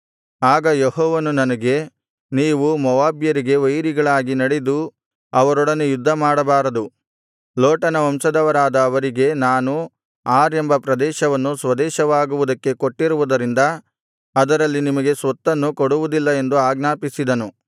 ಆಗ ಯೆಹೋವನು ನನಗೆ ನೀವು ಮೋವಾಬ್ಯರಿಗೆ ವೈರಿಗಳಾಗಿ ನಡೆದು ಅವರೊಡನೆ ಯುದ್ಧಮಾಡಬಾರದು ಲೋಟನ ವಂಶದವರಾದ ಅವರಿಗೆ ನಾನು ಆರ್ ಎಂಬ ಪ್ರದೇಶವನ್ನು ಸ್ವದೇಶವಾಗುವುದಕ್ಕೆ ಕೊಟ್ಟಿರುವುದರಿಂದ ಅದರಲ್ಲಿ ನಿಮಗೆ ಸ್ವತ್ತನ್ನು ಕೊಡುವುದಿಲ್ಲ ಎಂದು ಆಜ್ಞಾಪಿಸಿದನು